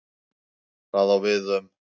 Það á við um